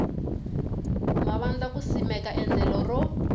mavandla ku simeka endlelo ro